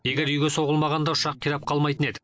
егер үйге соғылмағанда ұшақ қирап қалмайтын еді